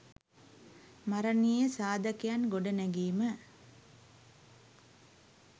මරනීය සාධකයන් ගොඩනැගීම